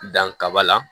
Danka la